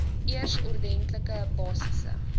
eers ordentlike basiese